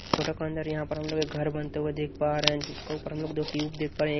Photo के अंदर यहां पर हम लोग एक घर बनते हुए देख पा रहे हैं जिसके ऊपर हम लोग दो ट्यूब देख पा रहे हैं।